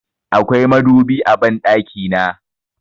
Akwai madubi a banɗaki na.